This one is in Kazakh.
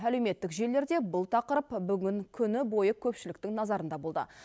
әлеуметтік желілерде бұл тақырып бүгін күні бойы көпшіліктің назарында болды